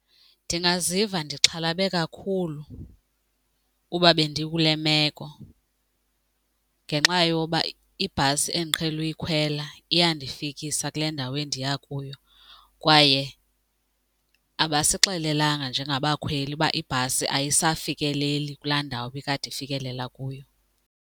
Ndingaziva ndixhalabe kakhulu uba bendikule meko ngenxa yoba ibhasi endiqhele uyikhwela iyandifikisa kule ndawo endiya kuyo kwaye abasixelelanga njengabakhweli uba ibhasi ayisafikeleli kulaa ndawo ibikade ifikelela kuyo.